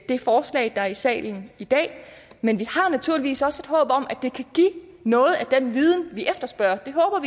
det forslag der er i salen i dag men vi har naturligvis også et håb om at det kan give noget af den viden vi efterspørger det håber